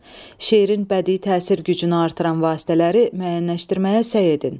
Şeirin bədii təsir gücünü artıran vasitələri müəyyənləşdirməyə səy edin.